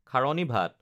খাৰণী ভাত